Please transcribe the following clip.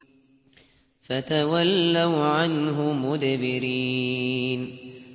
فَتَوَلَّوْا عَنْهُ مُدْبِرِينَ